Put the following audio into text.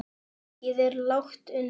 Mikið er lagt undir.